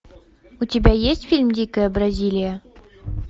у тебя есть фильм дикая бразилия